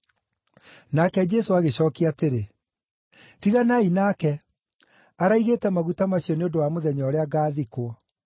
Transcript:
Nake Jesũ agĩcookia atĩrĩ, “Tiganai nake, araigĩte maguta macio nĩ ũndũ wa mũthenya ũrĩa ngaathikwo.